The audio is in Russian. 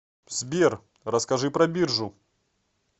сбер расскажи про биржу